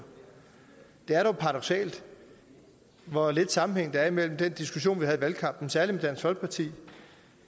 det er dog paradoksalt hvor lidt sammenhæng der er mellem den diskussion vi havde i valgkampen særlig med dansk folkeparti